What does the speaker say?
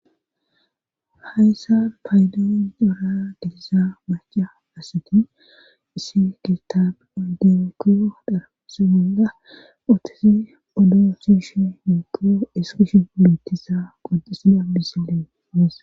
hayssa paydoon doora gedisa maca asati isi gitaab oyderekio dharapsi gonga utisi oddo su shi yuukkio iskish bulutisa qoxisida bisileenas